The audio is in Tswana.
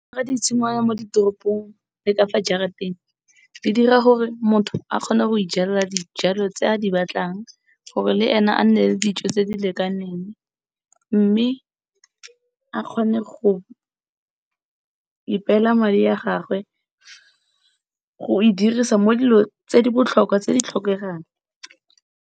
Di tshingwana mo ditoropong le ka fa jarateng di dira gore motho a kgone go ijalela dijalo tse a di batlang, gore le ene a nne le dijo tse di lekaneng mme a kgone go ipela madi a gagwe go e dirisa mo dilo tse di botlhokwa tse di tlhokegang.